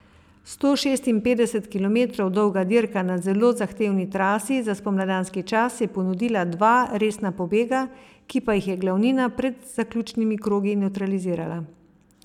Sto šestinpetdeset kilometrov dolga dirka na zelo zahtevni trasi za spomladanski čas je ponudila dva resna pobega, ki pa jih je glavnina pred zaključnimi krogi nevtralizirala.